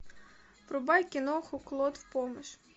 врубай киноху клод в помощь